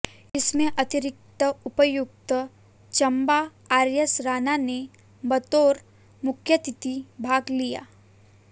इसमें अतिरिक्त उपायुक्त चंबा आरएस राणा ने बतौर मुख्यातिथि भाग लिया